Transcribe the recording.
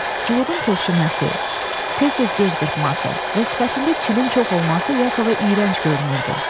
Cuhudun tövşüməsi, tez-tez göz qırpması və sifətində çilin çox olması Yakova iyrənc görünürdü.